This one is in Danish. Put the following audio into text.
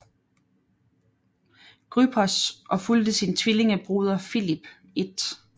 Grypos og fulgte sin tvillingebroder Filip 1